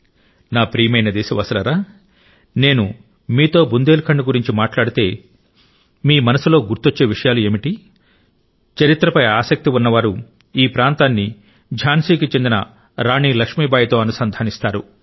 నా ప్రియమైన దేశవాసులారా నేను మీతో బుందేల్ ఖండ్ గురించి మాట్లాడితే మీ మనసులో గుర్తొచ్చే విషయాలు ఏమిటి చరిత్రపై ఆసక్తి ఉన్నవారు ఈ ప్రాంతాన్ని ఝాన్సీ కి చెందిన రాణి లక్ష్మీబాయితో అనుసంధానిస్తారు